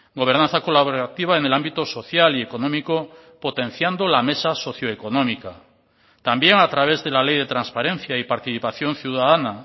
gobernanza colaborativa en el ámbito social y económico potenciando la mesa socio económica también a través de la ley de transparencia y participación ciudadana